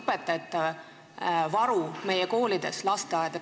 õpetajate varu meie koolides, lasteaedades ...